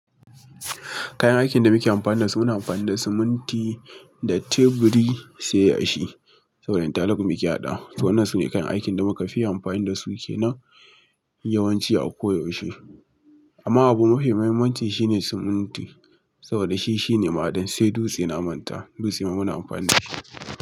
Kayan aikin da muke amfani da su muna amfani da siminti da teburi sai yashi saboda talab mu ke haɗawa. Waɗannan su ne kayan aikin da muka yawan amfani da su ke nan yawanci a koyaushe. Amma abu mafi muhimmanci shine siminti saboda shi shine ma'aɗin sai duste na manta. Dutse muna amfani da shi.